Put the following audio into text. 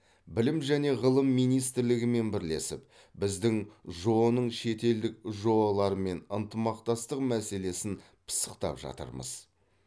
білім және ғылым министрлігімен бірлесіп біздің жоо ның шетелдік жоо лармен ынтымақтастық мәселесін пысықтап жатырмыз